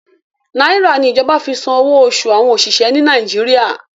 Nàìrà ni ìjọba fi san owó oṣù àwọn òṣìṣẹ́ ni Nàìjíríà.